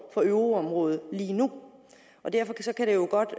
for euroområdet lige nu derfor kan det jo godt